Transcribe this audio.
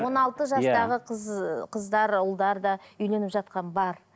он алты жастағы қыз ы қыздар ұлдар да үйленіп жатқан бар